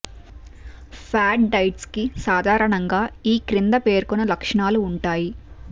ఫ్యాడ్ diets కి సాధారణంగా ఈ క్రింద పేర్కొన్న లక్షణాలు ఉంటాయి